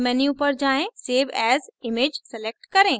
file menu पर जाएँ save as image select करें